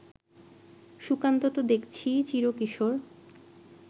সুকান্ত তো দেখছি চিরকিশোর